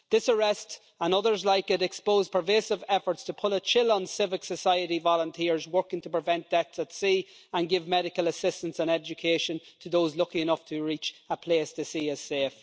This arrest, and others like it, has exposed pervasive efforts to put a chill on civil society volunteers working to prevent deaths at sea and give medical assistance and education to those lucky enough to reach a place they see as safe.